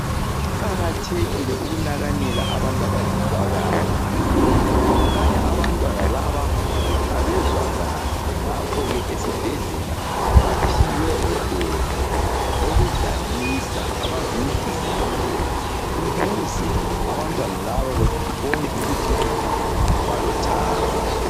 Kuqakathekile ukunakanela abantu abangezwa kahle. Kukhanya abantwana laba abezwakahle ngakho ke, esibhedlela baphiwe odoli abokudlalisa, abazinhliziyo ukuze abantwana laba babone ukuthi balothando.